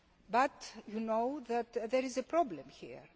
But you know that there is a problem here.